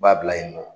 U b'a bila yen nɔ